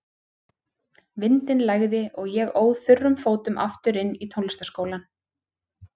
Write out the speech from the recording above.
Vindinn lægði og ég óð þurrum fótum aftur inn í tónlistarskólann.